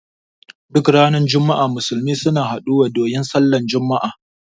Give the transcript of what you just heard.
Duk ranar juma'a Musulmi suna haɗu wa don yin Sallar juma'a